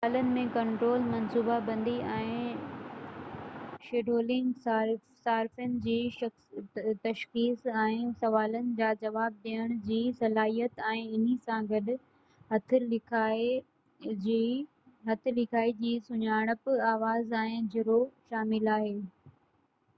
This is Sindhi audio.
مثالن ۾ ڪنٽرول منصوبه بندي ۽ شيڊولنگ صارفين جي تشخيص ۽ سوالن جا جواب ڏيڻ جي صلاحيت ۽ انهي سان گڏ هٿ لکائي جي سڃاڻپ آواز ۽ چهرو شامل آهن